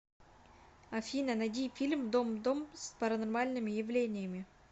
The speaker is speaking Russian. афина найди фильм дом дом с паранормальными явлениями